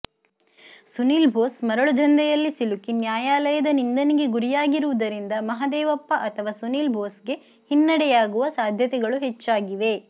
ಸುನೀಲ್ ಬೋಸ್ ಮರಳುದಂಧೆಯಲ್ಲಿ ಸಿಲುಕಿ ನ್ಯಾಯಾಲಯದ ನಿಂದನೆಗೆ ಗುರಿಯಾಗಿರುವುದರಿಂದ ಮಹದೇವಪ್ಪ ಅಥವಾ ಸುನೀಲ್ ಬೋಸ್ಗೆ ಹಿನ್ನಡೆಯಾಗುವ ಸಾಧ್ಯತೆಗಳು ಹೆಚ್ಚಾಗಿವೆ